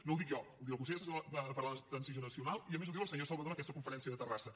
no ho dic jo ho diu el consell assessor per a la transició nacional i a més ho diu el senyor salvadó en aquesta conferència de terrassa